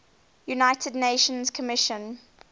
united nations commission